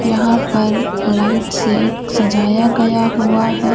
यहां पर लाइट से सजाया गया हुआ है ।